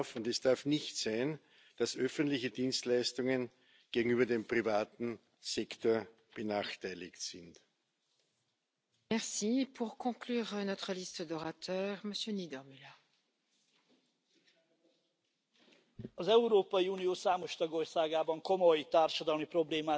auch Sache unserer Bürger in allen Mitgliedstaaten. Es sollte keine Verpflichtung sein, es sollte ein Angebot werden. In dem Sinne haben wir Ihre kritischen und konstruktiven Beiträge notiert und